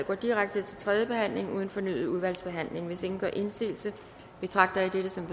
går direkte til tredje behandling uden fornyet udvalgsbehandling hvis ingen gør indsigelse betragter jeg dette som